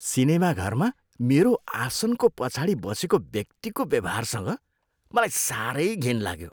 सिनेमाघरमा मेरो आसनको पछाडि बसेको व्यक्तिको व्यवहारसँग मलाई साह्रै घिन लाग्यो।